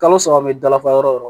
Kalo saba bɛ dafa yɔrɔ o yɔrɔ